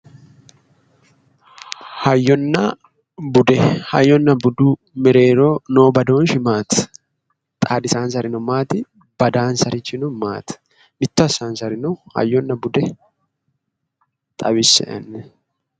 Hayyonna bude, hayyonna budu mereero noo badooshshi maati? Xaadisaansarino maati? Badansarichino maati? Mitto assaansarino hayyonna bude xawisse"e.